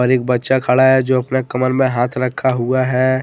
पर एक बच्चा खड़ा है जो अपना कमर में हाथ रखा हुआ है।